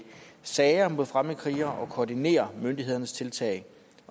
sager mod fremmedkrigere og koordinerer myndighedernes tiltag